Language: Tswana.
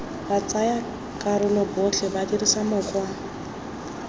batsayakarolo botlhe ba dirisa mokgwa